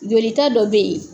Jolita dɔ bɛ yen